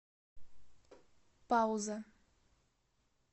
пауза